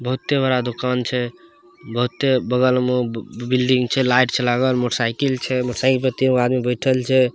बहुते बड़ा दुकान छे बहुते बगल मे बिल्डिंग छे लाइट छे लागा मोटर साइकिल छे मोटरसाइकिल पे तीन गो आदमी बइठल छे।